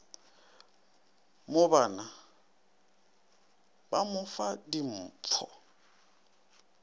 mobana ba mo fa dimfo